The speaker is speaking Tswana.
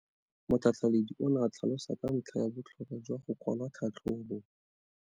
Motlhatlheledi o ne a tlhalosa ka ntlha ya botlhokwa jwa go kwala tlhatlhôbô.